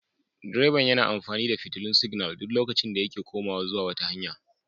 Direba yana amfani da fitilun siginal a duk lokacin da yake komawa zuwa wata hanya.